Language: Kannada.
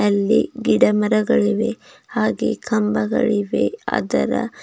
ಅಲ್ಲಿ ಗಿಡಮರಗಳಿವೆ ಹಾಗೆ ಕಂಬಗಳಿವೆ ಅದರ--